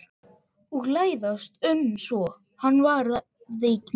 Og læðast um svo hann verði mín ekki var.